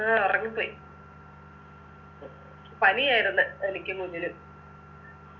ആ ഉറങ്ങിപ്പോയി പനിയായിരുന്ന് എനിക്കും കുഞ്ഞിനും